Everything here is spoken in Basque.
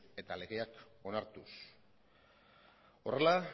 eta legeak onartuz horrela